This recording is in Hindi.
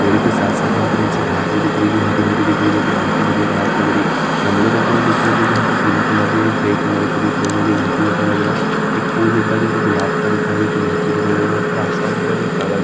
पेड़ के साथ-साथ हमको नीचे घांस भी दिख रही है जो हरी-हरी दिख रही है जोकी बहुत ही बढ़िया घांस लग रही गमले रखे हुए दिख रहे है जोकी हमको पीले कलर के ग्रे कलर की दिख रही है जोकी बहुत ही बढ़िया लग रहा है एक फूल दिख रहा हैजोकी गुलाब का दिख रहा है जोकी बहुत ही बढ़िया लग रहा हैऊपर आसमान दिख रहा जोकी काला--